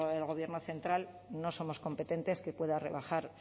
al gobierno central no somos competentes que pueda rebajar